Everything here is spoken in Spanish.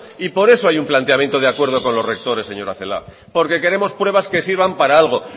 y por eso hay un planteamiento de acuerdo con los rectores señora celaá porque queremos pruebas que sirvan para algo